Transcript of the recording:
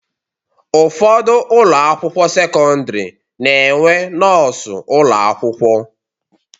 Ụfọdụ ụlọakwụkwọ sekọndịrị na-enwe nọọsụ ụlọakwụkwọ